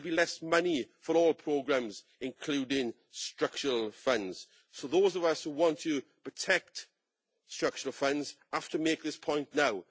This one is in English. There will be less money for all programmes, including structural funds. So those of us who want to protect structural funds have to make this point now.